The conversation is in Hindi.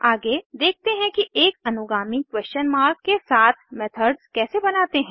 आगे देखते हैं कि एक अनुगामी क्वेस्शन मार्क के साथ मेथड्स कैसे बनाते हैं